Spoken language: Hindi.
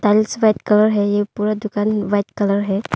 कलर है ये पूरा दुकान व्हाइट कलर है।